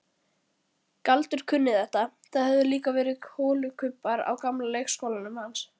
Galdur kunni þetta, það höfðu líka verið holukubbar á gamla leikskólanum hans.